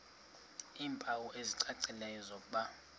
iimpawu ezicacileyo zokuba